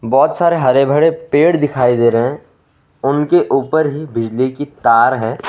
बहोत सारे हरे भरे पड़े दिखाई दे रहे हैं उनके ऊपर ही बिजली की तार है।